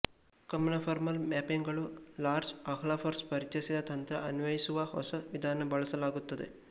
ಕಂನಫರ್ಮಲ್ ಮ್ಯಾಪಿಂಗುಗಳು Lars Ahlfors ಪರಿಚಯಿಸಿದ ತಂತ್ರ ಅನ್ವಯಿಸುವ ಹೊಸ ವಿಧಾನ ಬಳಸಲಾಗುತ್ತದೆ